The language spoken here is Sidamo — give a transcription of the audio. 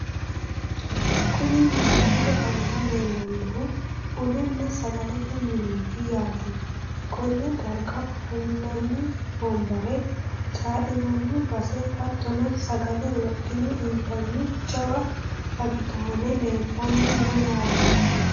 Kuni misilete aana leellannohu bununna sagalete mineeti yaate, konne darga ofo'linanni wombare, caa'linanni base, hattono sagale wodhine intanniti jawa agidaame leeltanni no yaate.